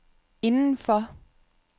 indenfor